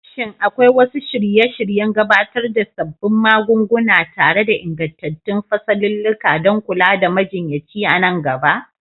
Shin akwai wasu shirye-shiryen gabatar da sabbin magunguna tare da ingantattun fasalulluka don kula da majinyaci a nan gaba?